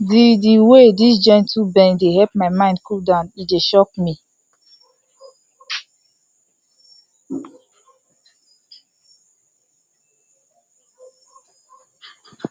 the the way this gentle bend dey help my mind cool down e shock me